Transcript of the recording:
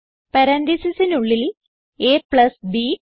പരാൻതീസിസിനുള്ളിൽ ab